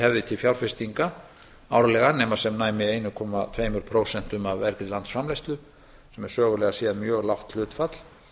hefði til fjárfestinga árlega nema sem næmi einu komma tveimur prósentum af verði landsframleiðslu sem er sögulega séð lágt hlutfall